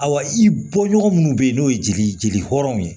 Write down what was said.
Awa i bɔɲɔgɔn minnu bɛ yen n'o ye jeli jeli hɔrɔnw ye